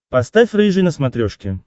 поставь рыжий на смотрешке